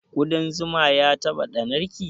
Ƙuɗan zuma ya taɓa ɗannar ki?